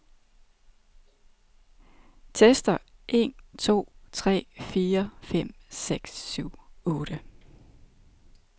Tester en to tre fire fem seks syv otte.